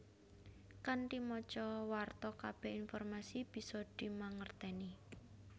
Kanthi maca warta kabeh informasi bisa dimangerteni